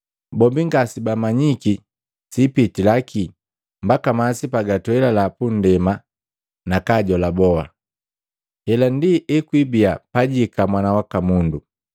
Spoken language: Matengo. Bombi ngasebamanyiki siipitila kii mbaka masi pagatwelila punndema nakajola boti. Hela ndi ekwibiya pajihika Mwana waka Mundu.